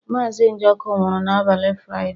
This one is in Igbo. Mazị Njoku nwụrụ n'abalị Fraịde.